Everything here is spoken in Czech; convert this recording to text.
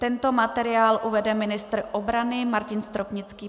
Tento materiál uvede ministr obrany Martin Stropnický.